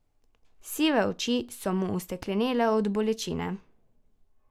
Sive oči so mu osteklenele od bolečine.